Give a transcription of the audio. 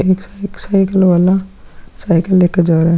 एक साइ साइकिल वाला साइकिल लेकर जा रहा है।